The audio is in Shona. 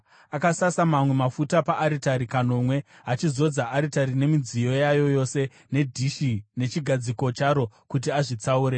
Akasasa mamwe mafuta paaritari kanomwe, achizodza aritari nemidziyo yayo yose nedhishi nechigadziko charo kuti azvitsaure.